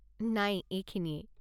নাই, এইখিনিয়েই।